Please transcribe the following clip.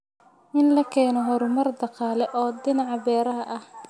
In la keeno horumar dhaqaale oo dhinaca beeraha ah.